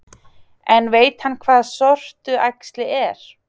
En veit hann hvað sortuæxli er?